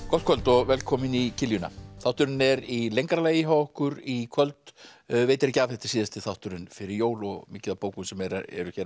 gott kvöld og velkomin í þátturinn er í lengra lagi hjá okkur í kvöld veitir ekki af þetta er síðasti þátturinn fyrir jól og mikið af bókum sem eru hér